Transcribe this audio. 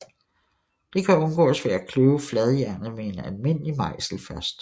Det kan undgås ved at kløve fladjernet med en almindelig mejsel først